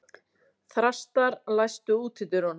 Þrastar, læstu útidyrunum.